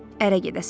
Ərə gedəsən.